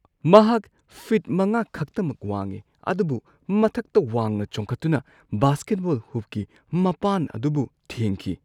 ꯃꯍꯥꯛ ꯐꯤꯠ ꯵ ꯈꯛꯇꯃꯛ ꯋꯥꯡꯏ ꯑꯗꯨꯕꯨ ꯃꯊꯛꯇ ꯋꯥꯡꯅ ꯆꯣꯡꯈꯠꯇꯨꯅ ꯕꯥꯁꯀꯦꯠꯕꯣꯜ ꯍꯨꯞꯀꯤ ꯃꯄꯥꯟ ꯑꯗꯨꯕꯨ ꯊꯦꯡꯈꯤ!